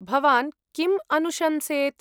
भवान् किं अनुशंसेत्?